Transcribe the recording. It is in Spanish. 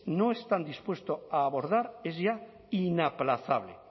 no están dispuestos a abordar es ya inaplazable